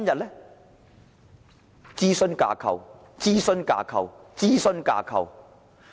是諮詢架構、諮詢架構、諮詢架構。